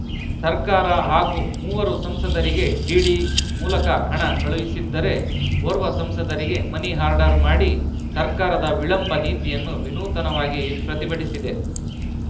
ಸರ್ಕಾರ ಹಾಗೂ ಮೂವರು ಸಂಸದರಿಗೆ ಡಿಡಿ ಮೂಲಕ ಹಣ ಕಳುಹಿಸಿದ್ದರೆ ಓರ್ವ ಸಂಸದರಿಗೆ ಮನಿ ಆರ್ಡರ್‌ ಮಾಡಿ ಸರ್ಕಾರದ ವಿಳಂಬ ನೀತಿಯನ್ನು ವಿನೂತನವಾಗಿ ಪ್ರತಿಭಟಿಸಿದೆ